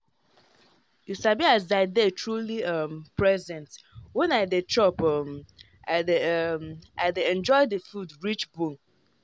you sabi as i dey truly um present when i dey chop um i dey um i dey enjoy the food reach bone.